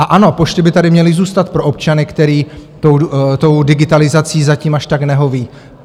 A ano, pošty by tady měly zůstat pro občany, kteří té digitalizaci zatím až tak nehoví.